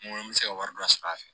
N ko n bɛ se ka wari dɔ sɔr'a fɛ